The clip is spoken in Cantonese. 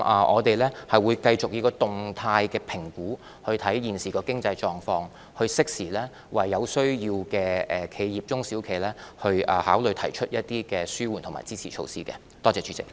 我們會繼續以動態評估來審視現時的經濟狀況，並適時考慮為有需要的中小企業提出一些紓緩和支持措施。